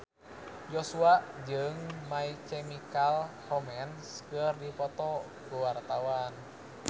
Joshua jeung My Chemical Romance keur dipoto ku wartawan